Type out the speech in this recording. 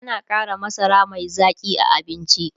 ana Kara masara Mai Zaƙi a abinci